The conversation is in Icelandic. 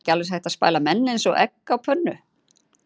Er ekki alveg eins hægt að spæla menn eins og egg á pönnu?